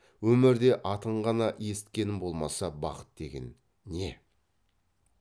өмірде атын ғана есіткенім болмаса бақыт деген не